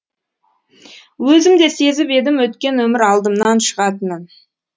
өзім де сезіп едім өткен өмір алдымнан шығатынын